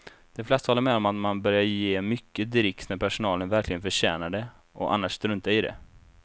De flesta håller med om att man bör ge mycket dricks när personalen verkligen förtjänar det och annars strunta i det.